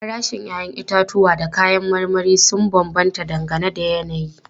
Farashin 'ya'yan itatuwa da kayan marmari sun bambanta dangane da yanayi.